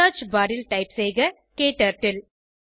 search bar ல் type செய்க க்டர்ட்டில்